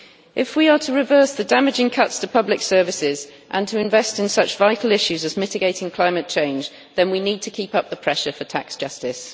If we are to reverse the damaging cuts to public services and to invest in such vital issues as mitigating climate change, then we need to keep up the pressure for tax justice.